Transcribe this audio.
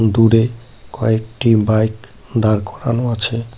দূরে কয়েকটি বাইক দাঁড় করানো আছে।